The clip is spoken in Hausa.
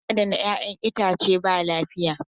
Hanyar adana 'yac'yan itace ba lafiya.